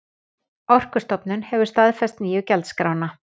Orkustofnun hefur staðfest nýju gjaldskrána